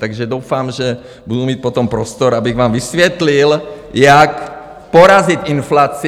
Takže doufám, že budu mít potom prostor, abych vám vysvětlil, jak porazit inflaci!